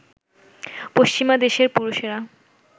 পশ্চিমা দেশের পুরুষেরা